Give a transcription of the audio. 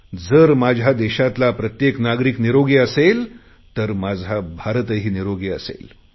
जर माझ्या देशातला प्रत्येक नागरिक निरोगी असेल तर माझा भारतही निरोगी असेल